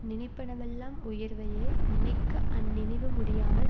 நினைப்பனவெல்லாம் உயர்வையே நினைக்க அந்நினைவு முடியாமல்